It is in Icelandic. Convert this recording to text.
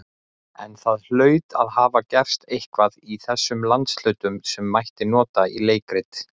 En það hlaut að hafa gerst eitthvað í þessum landshlutum, sem mætti nota í leikrit.